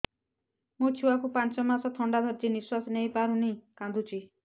ମୋ ଛୁଆକୁ ପାଞ୍ଚ ମାସ ଥଣ୍ଡା ଧରିଛି ନିଶ୍ୱାସ ନେଇ ପାରୁ ନାହିଁ କାଂଦୁଛି